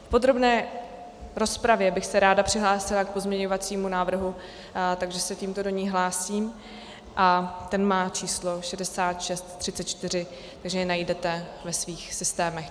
V podrobné rozpravě bych se ráda přihlásila k pozměňovacímu návrhu, takže se tímto do ní hlásím, a ten má číslo 6634, takže jej najdete ve svých systémech.